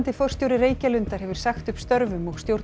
forstjóri Reykjalundar hefur sagt upp störfum og stjórn